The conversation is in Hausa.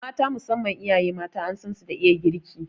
Mata, musamman iyaye mata an san su da iya girki